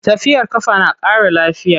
Tafiyar ƙafa na ƙara lafiya.